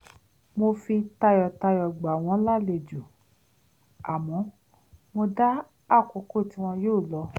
mo fi tayọ̀tayọ̀ gbà wọ́n lálejò àmọ́ mo dá àkókò tí wọn yóò lọ